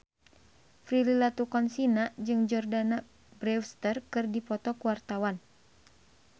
Prilly Latuconsina jeung Jordana Brewster keur dipoto ku wartawan